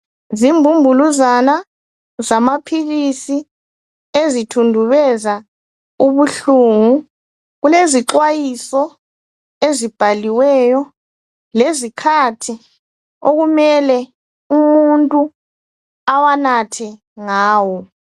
Zimbumbuluzana zamaphilisi ezithundubeza ubuhlungu. Kulezixwayiso ezibhaliyo lezikhathi okumele umuntu awanathe ngazo.